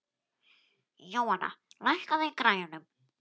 Jóanna, lækkaðu í græjunum.